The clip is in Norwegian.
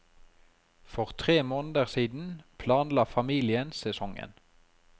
For tre måneder siden planla familien sesongen.